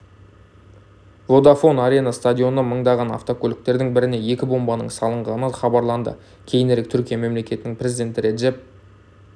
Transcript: водафон арена стадионы маңындағы авто көліктердің біріне екі бомбаның салынғаны хабарланды кейінірек түркия мемлекетінің президенті реджеп